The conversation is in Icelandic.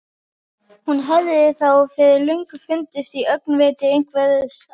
Hún hefði þá fyrir löngu fundist í öngviti einhvers staðar.